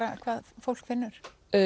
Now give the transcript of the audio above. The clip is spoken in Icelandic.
hvað fólk finnur